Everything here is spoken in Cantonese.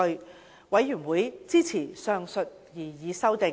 事務委員會支持上述擬議修訂。